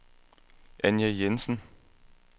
Anja Jensen